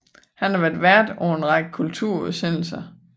Han har været vært på en række kulturudsendelser